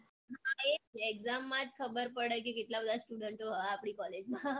exam માં જ ખબર પડે કે કેટલા બધા student ઓ હે આપડી college માં